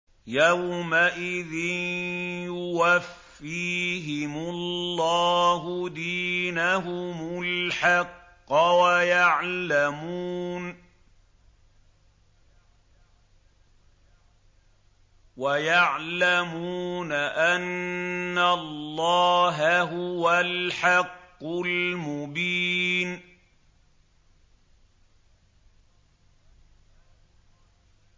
يَوْمَئِذٍ يُوَفِّيهِمُ اللَّهُ دِينَهُمُ الْحَقَّ وَيَعْلَمُونَ أَنَّ اللَّهَ هُوَ الْحَقُّ الْمُبِينُ